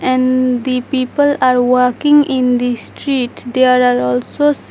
And the people are walking in the street there are also sa --